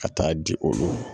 Ka taa di olu ma